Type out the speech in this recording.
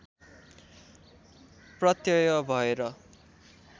प्रत्यय भएर